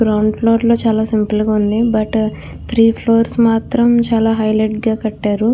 Ground floor చాల simple గ ఉంది బట్ త్రి ఫ్లూర్స్ మాతరం చాల హైలైట్ గ కట్టారు .